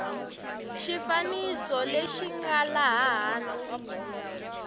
xifaniso lexi nga laha hansi